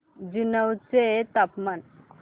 जुनवणे चे तापमान